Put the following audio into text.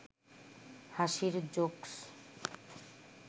হাসির জোকস্